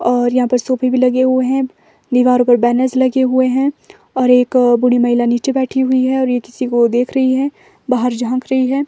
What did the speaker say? और यहां पर सोफे भी लगे हुए हैं दीवारों पर बैनर्स लगे हुए हैं और एक बूढी महिला नीचे बैठी हुई है और यह किसी को देख रही है बाहर झांक रही है।